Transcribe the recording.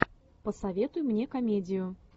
посоветуй мне комедию